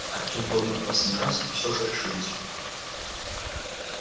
артём подумал в последний раз и всё же решился